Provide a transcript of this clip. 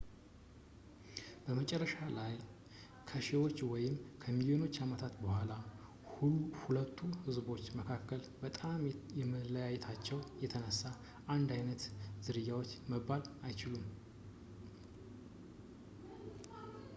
መጨረሻ ላይ ከሺዎች ወይም ከሚሊዮን ዓመታት በኋላ ሁለቱ ህዝቦች በመልክ በጣም ከመለያየታቸው የተነሳ አንድ ዓይነት ዝርያዎች መባል አይችሉም